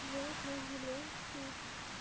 вот наш зеленский